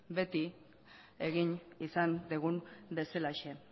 beti egin izan dugun bezalaxe